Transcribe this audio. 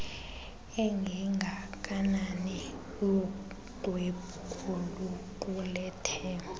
engengakanani luxwebhu oluqulethe